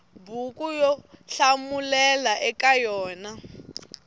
buku yo hlamulela eka yona